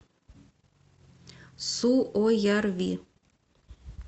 суоярви